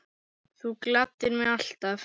Þú gladdir mig alltaf.